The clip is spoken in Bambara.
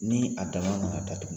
Nii a dann'a ma k'a datugu